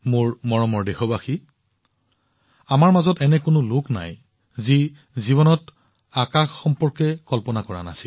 মোৰ মৰমৰ দেশবাসীসকল আমাৰ মাজৰ এনে কোনো লোক নাই যাৰ জীৱনত আকাশৰ সৈতে সম্পৰ্কিত কল্পনা নাই